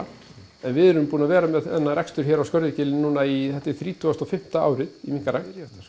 en við erum búin að vera með þennan rekstur hér á Skörðugili núna í þetta er þrítugasta og fimmta árið í minkarækt